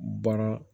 Baara